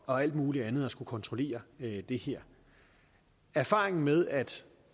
og alt muligt andet at skulle kontrollere det her erfaringerne med at